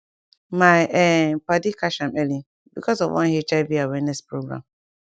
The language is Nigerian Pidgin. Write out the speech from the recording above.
my um padi catch am early because of one hiv awareness program